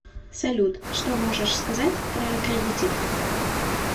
салют что можешь сказать про аккредитив